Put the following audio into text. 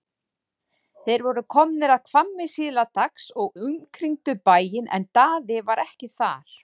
Þeir voru komnir að Hvammi síðla dags og umkringdu bæinn en Daði var ekki þar.